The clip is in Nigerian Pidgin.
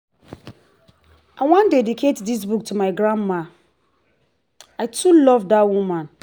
i wan dedicate dis book to my grandma. i too love dat woman